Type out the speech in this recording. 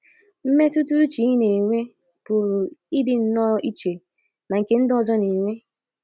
Mmetụta uche ị na - enwe pụrụ ịdị nnọọ iche na nke ndị ọzọ na - enwe.